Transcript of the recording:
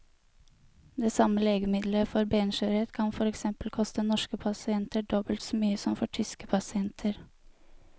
Det samme legemiddelet for benskjørhet kan for eksempel koste norske pasienter dobbelt så mye som for tyske pasienter.